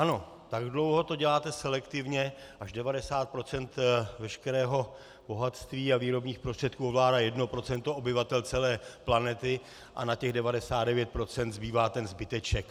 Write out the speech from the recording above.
Ano, tak dlouho to děláte selektivně, až 90 % veškerého bohatství a výrobních prostředků ovládá 1 % obyvatel celé planety a na těch 99 % zbývá ten zbyteček.